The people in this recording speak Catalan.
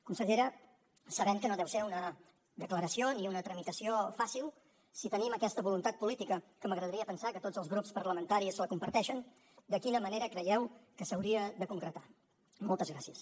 consellera sabent que no deu ser una declaració ni una tramitació fàcil si tenim aquesta voluntat política que m’agradaria pensar que tots els grups parlamentaris la comparteixen de quina manera creieu que s’hauria de concretar moltes gràcies